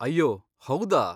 ಅಯ್ಯೋ ಹೌದಾ!